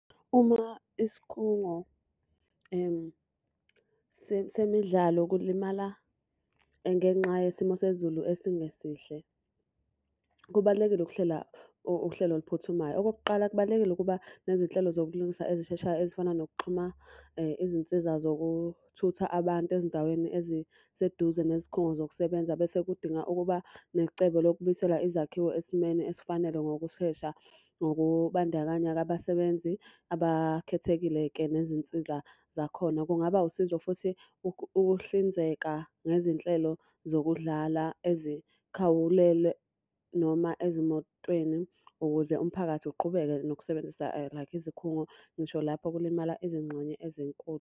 Uma isikhungo semidlalo kulimala ngenxa yesimo sezulu esingesihle, kubalulekile ukuhlela uhlelo oluphuthumayo. Okokuqala, kubalulekile ukuba nezinhlelo zokulungisa ezisheshayo ezifana nokuxhuma izinsiza zokuthutha abantu ezindaweni eziseduze nezikhungo zokusebenza. Bese kudinga ukuba necebo lokubuyisela izakhiwo esimeni esifanele ngokushesha. Ngokubandakanya-ke abasebenzi abakhethekile-ke nezinsiza zakhona. Kungaba usizo futhi ukuhlinzeka ngezinhlelo zokudlala ezikhawulele noma ezimotweni ukuze umphakathi uqhubeke nokusebenzisa like izikhungo ngisho lapho kulimala izingxenye ezenkulu.